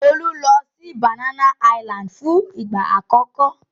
Olu lọ sí Banana Island fún ìgbà àkọ́kọ́.